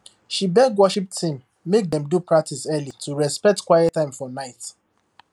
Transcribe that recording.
she beg worship team make dem do practice early to respect quiet time for night